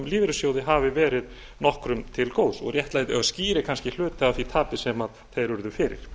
lífeyrissjóði hafi verið nokkrum til góðs og skýri kannski hluta af því tapi sem þeir urðu fyrir